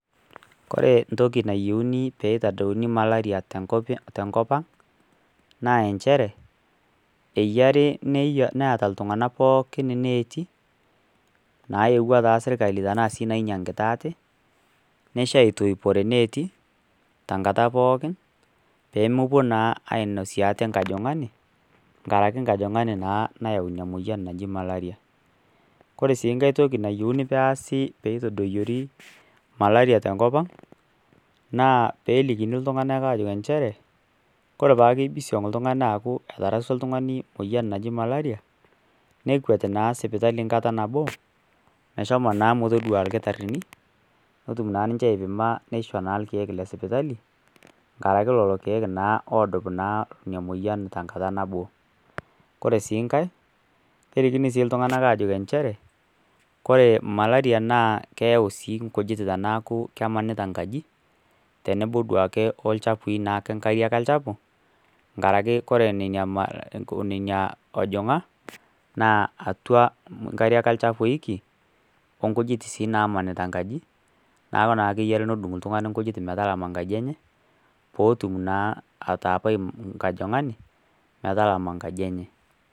kore entoki nayouni pee eitadouni malaria tenkop ang', naa enchere, eyare neata iltung'ana pooki, ineeti, nayiewa taa sii sirkari anaa nainyagita aate, nesha aitoipore ineeti, tenkata pookin, pe mowuo naa ainosiie aate enkajang'ani, enkaraki naa enkajang'ani naa ake naa nayau ina moyiake ake naji malaria. Kore sii inkai toki nayouni peasi pee eitaadoyiori malaria tenkop aang', naa pee elikini iltung'ana enjeere kore naake pee imbisiong' oltung'ani aaku eterasua oltung'ani emoyian e malaria, nekwat naa sipitali naa enkata nabo, meshomo naa metodua ilkitarini, pee etum naa ninche aipima na neisho ilkeek le sipitali, enkaraki naa lelo keek oodup naa ina moyian naa tenkata nabo. Kore sii inkai, keliknii sii iltung'ana aajoki enchere, kore malaria naa keyau sii inkujit tanaaku kemaanita inkaji, tenebo naake o nkariak olchafu, enkarake ore nena ojong'a naa atua inkariak olchafu eeiki, o inkujit sii naamanita inkaji neaku neaku naa ake iyie eyou nedung' ltungani nkujit metalama nkaji enye, pootum naa ataapai inkajang'ani metalamai inkaji enye.